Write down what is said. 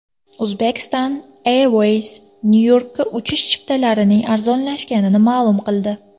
Uzbekistan Airways Nyu-Yorkka uchish chiptalarining arzonlashganini ma’lum qildi.